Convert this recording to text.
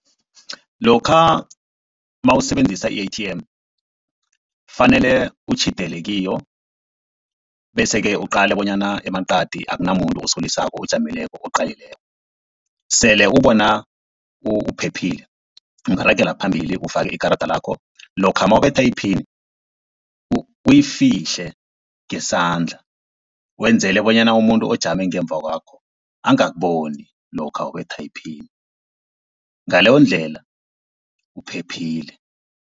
Lokha nawusebenzisa i-A_T_M fanele utjhidele kiyo, bese-ke uqale bonyana emaqadi akunamuntu osolisako ojamileko oqalileko. Sele ubona uphephile ungaragela phambili ufake ikarada lakho. Lokha nawubetha iphini uyifihle ngesandla wenzele bonyana umuntu ojame ngemva kwakho angakuboni lokha ubetha iphini, ngaleyondlela uphephile.